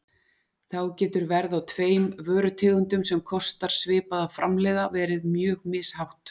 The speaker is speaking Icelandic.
Þá getur verð á tveim vörutegundum sem kostar svipað að framleiða verið mjög mishátt.